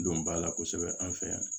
Donba la kosɛbɛ an fɛ yan